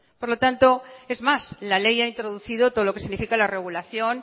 por lo tanto es más la ley ha introducido todo lo que significa la regulación